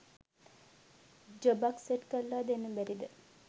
ජොබක් set කරලා දෙන්න බැරිද ?